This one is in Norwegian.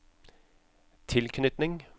tilknytning